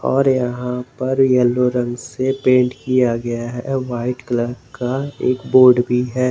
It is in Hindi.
और यहां पर येलो रंग से पेंट किया गया है वाइट कलर का एक बोर्ड भी है।